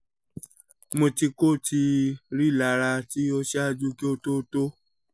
mo ti ko ti rilara ti o ṣaaju ki o to to